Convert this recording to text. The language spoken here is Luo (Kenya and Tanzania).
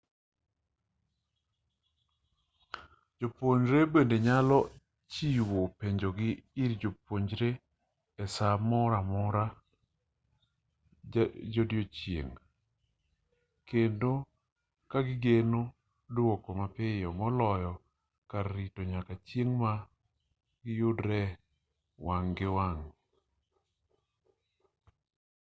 jopuonjre be nyalo chiwo penjogi ir jopuonje e-saa moro amora godiochieng' kendo kagigeno duoko mapiyo moloyo kar rito nyaka chieng' ma giyudore wang' gi wang'